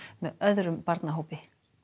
með öðrum barnahópi